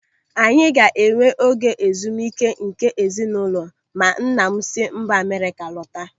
Anyị ga-enwe oge ezumike nke ezinụlọ ma nna m si mba Amerịka lọta.